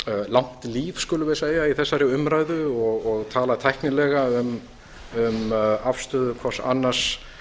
langt líf skulum við segja í þessari umræðu og tala tæknilega um afstöðu hvers annars